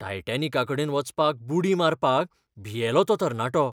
टायटेनिका कडेन वचपाक बुडी मारपाक भियेलो तो तरणाटो!